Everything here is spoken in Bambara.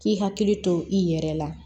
K'i hakili to i yɛrɛ la